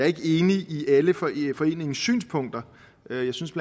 ikke enig i alle foreningens synspunkter jeg synes